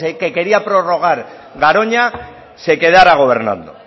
que quería prorrogar garoña se quedará gobernando